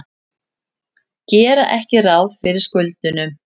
Gera ekki ráð fyrir skuldunum